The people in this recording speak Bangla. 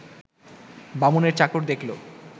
বামুনের চাকর দেখল